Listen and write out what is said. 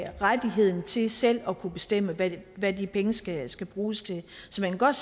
rettigheden til selv at kunne bestemme hvad hvad de penge skal skal bruges til så jeg kan godt